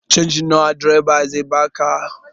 Canji nawa direba zai baka?